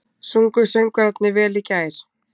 Sungu söngvararnir vel í gær?